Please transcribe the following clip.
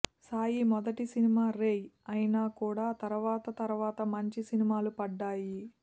సాయి మొదటి సినిమా రేయ్ అయినా కూడా తరవాత తరవాత మంచి సినిమాలు పడ్డాయి